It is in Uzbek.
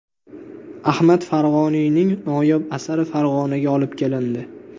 Ahmad Farg‘oniyning noyob asari Farg‘onaga olib kelindi.